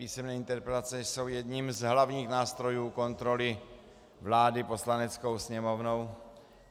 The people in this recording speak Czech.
Písemné interpelace jsou jedním z hlavních nástrojů kontroly vlády Poslaneckou sněmovnou.